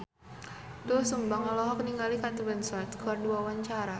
Doel Sumbang olohok ningali Kate Winslet keur diwawancara